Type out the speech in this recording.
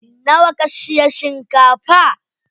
Nawa ka siya shinkafa?